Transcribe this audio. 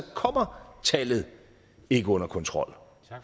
kommer tallet ikke under kontrol